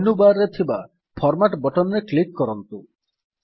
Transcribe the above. menu bar ରେ ଥିବା format button ରେ କ୍ଲିକ୍ କରନ୍ତୁ